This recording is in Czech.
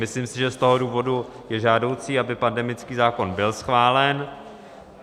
Myslím si, že z toho důvodu je žádoucí, aby pandemický zákon byl schválen.